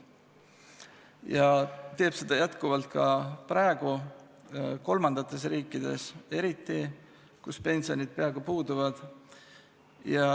Ja nii on jätkuvalt ka praegu kolmandates riikides, eriti neis, kus pensionid peaaegu puuduvad.